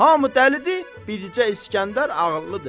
Hamı dəlidi, bircə İsgəndər ağıllıdır.